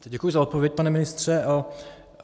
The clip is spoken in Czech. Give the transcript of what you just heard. Děkuji za odpověď, pane ministře.